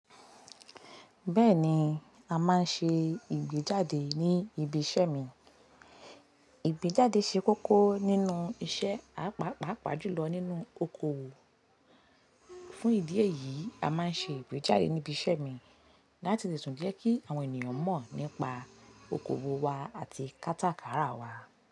Bẹ́ẹ̀ni, a máa ń ṣe ìgbéjáde ní ibi iṣẹ́ mi. Ìgbéjáde ṣe kókó nínú iṣẹ́ páàpàá pàápàá jùlọ nínú okòwò. Fún ìdí èyí, a máa ń ṣe ìgbéjáde ní ibi iṣẹ́ mi láti lè tún jẹ́ kí àwọn ènìyàn mọ̀ nípa okòwò wa àti kátàkárà wa.